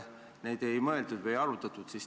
Neid nagu ei arutatud.